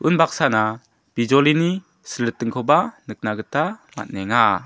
unbaksana bijolini silritingkoba nikna gita man·enga.